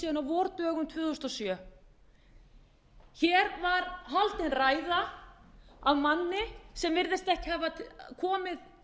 síðan á vordögum tvö þúsund og sjö hér var haldin ræða af manni sem virðist ekki hafa komið